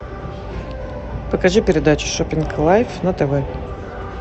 покажи передачу шоппинг лайф на тв